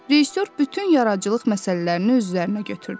Rejissor bütün yaradıcılıq məsələlərini öz üzərinə götürdü.